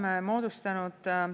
Oleme moodustanud …